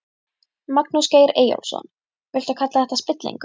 Magnús Geir Eyjólfsson: Viltu kalla þetta spillingu?